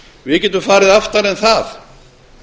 við getum farið aftar en það